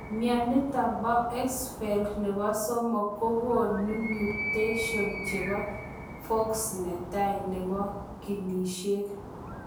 Mionitok poo Axenfeld nepoo somok kogonuu mutetions chepo FOXC netai nepo ginisiek.